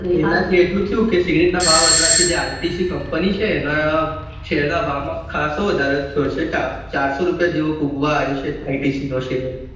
એનાથી આ સિગરેટના ભાવ માં ઇટસી કંપન છે એના કંપની ના શેર માં ખહસો વધારો થયો છે ચારસો સુધી પહોંચવા આયો છે આઇટીસી company માં